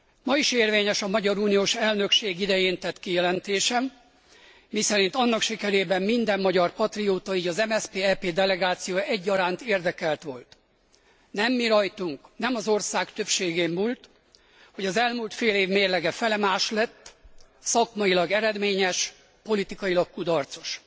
Ma is érvényes a magyar uniós elnökség idején tett kijelentésem, miszerint annak sikerében minden magyar patrióta, így az MSZP EP delegációja egyaránt érdekelt volt. Nem mirajtunk, nem az ország többségén múlt, hogy az elmúlt fél év mérlege felemás lett, szakmailag eredményes, politikailag kudarcos.